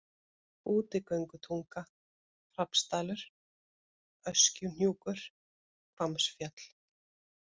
Útigöngutunga, Hrafnsdalur, Öskjuhnjúkur, Hvammsfjöll